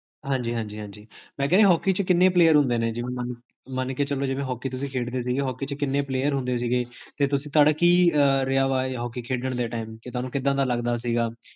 ਹਾਂਜੀ ਹਾਂਜੀ ਹਾਂਜੀ, ਮੈ ਕੇਹਾ ਜੀ ਹੋਕੀ ਚ ਕਿੰਨੇ player ਹੁਦੇ ਨੇ? ਮਨ ਕੇ ਚੱਲੋ ਤੁਸੀਂ ਹੋਕੀ ਖੇਡਦੇ ਸੀਗੇ, ਹੋਕੀ ਚ ਕਿੰਨੇ player ਹੁੰਦੇ ਸੀਗੇ, ਤੇ ਤੁਹਾਡਾ ਕੀ ਰਿਹਾ ਵਾ ਹੋਕੀ ਖੇਡਣ ਦੇ time, ਕੀ ਤੁਹਾਨੂ ਕਿਦਾਂ ਦਾ ਲਗਦਾ ਸੀਗਾ